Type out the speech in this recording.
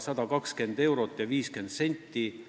120 eurot ja 50 senti.